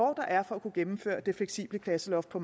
er for at kunne gennemføre det fleksible klasseloft på